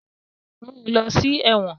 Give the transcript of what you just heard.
Mu u lọ si ẹwọn!